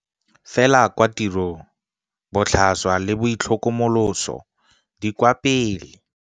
Fela kwa tirong botlhaswa le boitlhokomoloso di kwa pele.